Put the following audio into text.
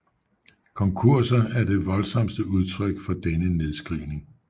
Konkurser er det voldsomste udtryk for denne nedskrivning